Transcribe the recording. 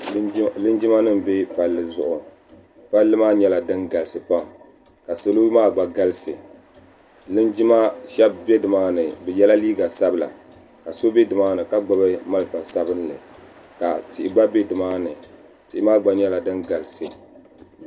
Linjimanima m-be palli zuɣu palli maa nyɛla din galisi pam ka salo maa gba galisi linjima shɛba be nimaani bɛ yela liiga sabila ka so be nimaani ka gbubi malifa sabinli ka tihi gba be nimaani tihi maa gba nyɛla din galisi.